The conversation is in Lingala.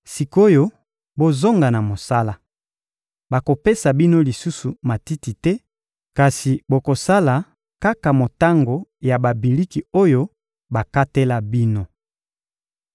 Sik’oyo, bozonga na mosala! Bakopesa bino lisusu matiti te, kasi bokosala kaka motango ya babiliki oyo bakatela bino.